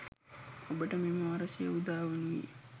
ඔබට මෙම වර්ෂය උදා වනුයේ